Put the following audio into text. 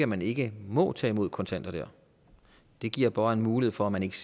man ikke må tage imod kontanter der det giver bare en mulighed for at man ikke